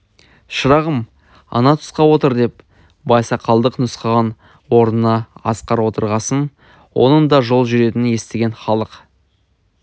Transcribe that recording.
шырағым ана тұсқа отыр деп байсақалдық нұсқаған орнына асқар отырғасын оның да жол жүретінін естіген халық